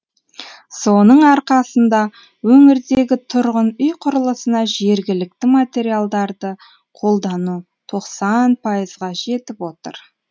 соның арқасында өңірдегі тұрғын үй құрылысына жергілікті материалдарды қолдану тоқсан пайызға жетіп отыр